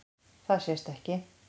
Það sést ekki.